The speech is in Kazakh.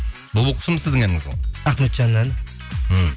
бұлбұл құсым сіздің әніңіз ғой ахметжанның әні ммм